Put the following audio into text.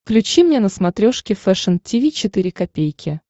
включи мне на смотрешке фэшн ти ви четыре ка